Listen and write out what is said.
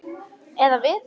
Eða við.